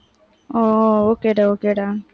ஓ, okay டா okay டா